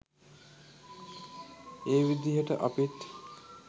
ඒ විදිහට අපිත්